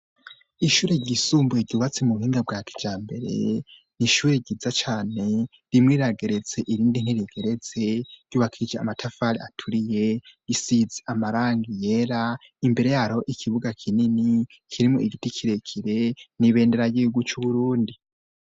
Ishure ryisumbuye ryubatse mu buhinga bwa kijambere, ni ishure ryiza cane imwie irageretse irindi ntiregeretse, ryubakishije amatafari aturiye; isize amarangi yera . Imbere yayo ikibuga kinini kirimwo igiti kirekire n'ibendera ry'igihugu c'Uburundi.